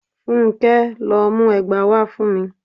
Fúnké! lọ mú ẹgba wá fún mi.